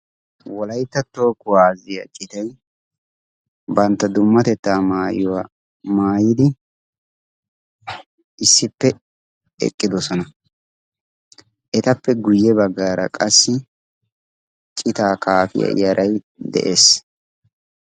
Wolaitta tooho kuwaazziya citay bantta dummatettaa maayiuwaa maayidi issippe eqqidosona etappe guyye baggaara qassi citaa kaafiyaa yaray de'ees.